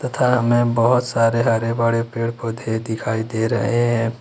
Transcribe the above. सामने बहोत सारे हरे भरे पेड़ पौधे दिखाई दे रहे हैं।